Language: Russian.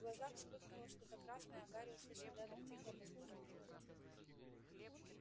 в глазах вспыхнуло что-то красное а гарри услышал рядом тихое постукивание когтей